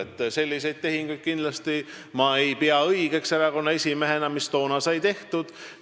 Erakonna esimehena ma ei pea kindlasti õigeks selliseid tehinguid, mis toona tehtud said.